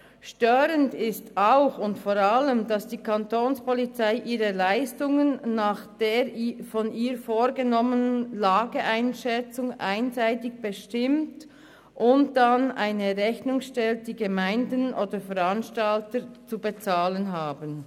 Störend ist auch und vor allem, dass die Kapo ihre Leistungen nach der von ihr vorgenommenen Lageeinschätzung einseitig bestimmt und dann eine Rechnung stellt, die die Gemeinden oder Veranstalter zu bezahlen haben.